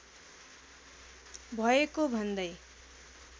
भएको भन्दै